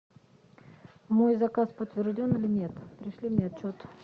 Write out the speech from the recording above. мой заказ подтвержден или нет пришли мне отчет